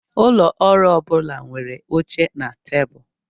Ụlọ ọrụ ọ bụla nwere oche na tebụl.